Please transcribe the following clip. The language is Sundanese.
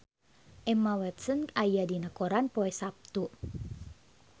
Emma Watson aya dina koran poe Saptu